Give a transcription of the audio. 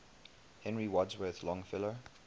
henry wadsworth longfellow